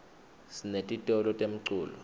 sinetitolo temculo